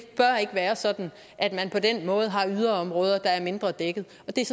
bør ikke være sådan at man på den måde har yderområder der er mindre dækket det